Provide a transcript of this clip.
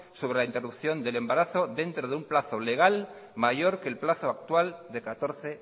sobre la interrupción del embarazo dentro de un plazo legal mayor que el plazo actual de catorce